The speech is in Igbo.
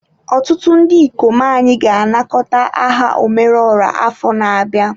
Ọtụtụ ndị ikom anyị ga-anakọta aha omeruoha afọ na-abịa.